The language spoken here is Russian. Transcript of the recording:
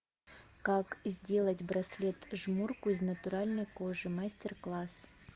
как сделать браслет жмурку из натуральной кожи мастер класс